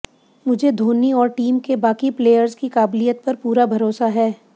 मुझे धोनी और टीम के बाकी प्लेयर्स की काबिलियत पर पूरा भरोसा है